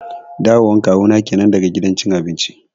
Dawo wan Kawu na kenan daga gidan cin abinci